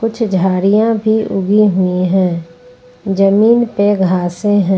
कुछ झाड़ियां भी उगी हुई हैं जमीन पे घासे हैं।